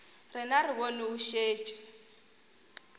rena re bone o šetše